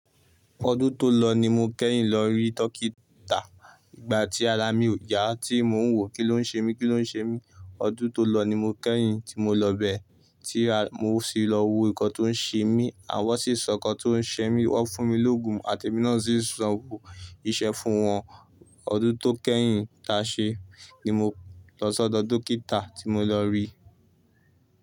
Kò tún tó lọ ní mo kẹ́yìn lọ rí turkey ta. Ìgbà tí ara mi ò yá, tí mo ń wò, kí ló ń ṣe mí? Kí ló ń ṣe mí? Ọdún tó lọ ni mo kẹ́yìn tí mo lọ bẹ, tí mo sì lọ wo nǹkan tó ń ṣe mí àwọn sì sọ nǹkan tó ń ṣe mí, wọ́n fún mi l'oògùn àti èmi náà sì sanwó iṣẹ́ fún wọn. Ọdún tó kẹ́yìn ta ṣe ni mo lọ sọ́dọ̀ dókítà tí mo lọ rí.